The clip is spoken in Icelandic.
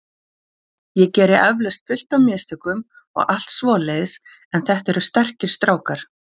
Ég geri eflaust fullt af mistökum og allt svoleiðis en þetta eru sterkir strákar.